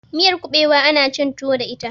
miyar kubewa ana cin tuwo da ita